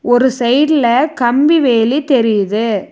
ஒரு சைட்ல கம்பி வேலி தெரியுது.